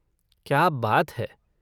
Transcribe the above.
क्या बात है।